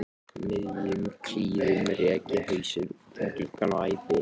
miðjum klíðum rek ég hausinn út um gluggann og æpi